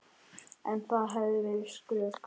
En það hefði verið skrök.